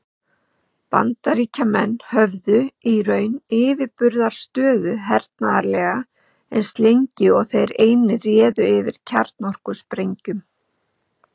Bandaríkjamenn höfðu í raun yfirburðastöðu hernaðarlega, eins lengi og þeir einir réðu yfir kjarnorkusprengjum.